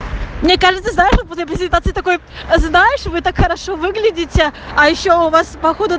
мне кажется знаешь вот после презентации такой знаешь вы так хорошо выглядите а ещё у вас походу